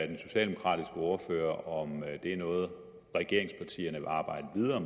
den socialdemokratiske ordfører om det er noget regeringspartierne vil arbejde videre